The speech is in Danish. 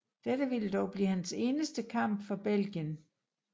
Dette ville dog blive hans eneste kamp for Belgien